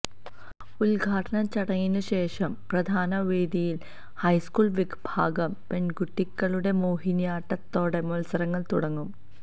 ഉദ്ഘാടന ചടങ്ങിനുശേഷം പ്രധാന വേദിയില് ഹൈസ്കൂള് വിഭാഗം പെണ്കുട്ടികളുടെ മോഹിനിയാട്ടത്തോടെ മത്സരങ്ങള് തുടങ്ങും